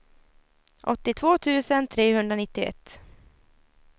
åttiotvå tusen trehundranittioett